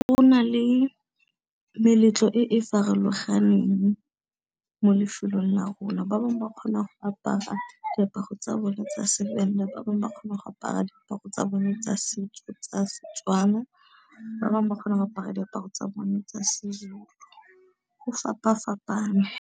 Go na le meletlo e e farologaneng mo lefelong la rona, ba bangwe ba kgona go apara diaparo tsa bone tsa seVenda, ba bangwe ba kgona go apara diaparo tsa bone tsa setso tsa Setswana, ba bangwe ba kgona go apara diaparo tsa bone tsa seZulu go fapa fapane.